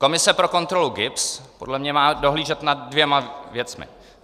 Komise pro kontrolu GIBS podle mě má dohlížet nad dvěma věcmi.